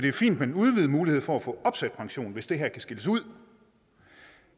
er fint med den udvidede mulighed for at få opsat pension hvis det her kan skilles ud